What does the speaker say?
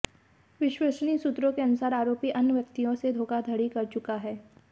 विश्वसनीय सूत्रों के अनुसार आरोपी अन्य व्यक्तियों से धोखाधड़ी कर चुका है